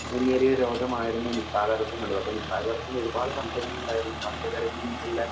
മുന്നേറിയ രോഗമായിരുന്നു നിപ്പ വൈറസ് എന്നുള്ളത്. അപ്പോ നിപ്പ വൈറസിന് ഒരുപാട് സംശയങ്ങൾ ഉണ്ടായിരുന്നു. പച്ചക്കറിയിൽ നിന്നുള്ള